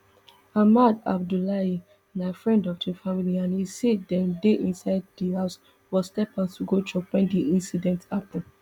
ahmad abdullahi na friend of di family and e say dem dey inside di house but step out to go chop wen di incident happun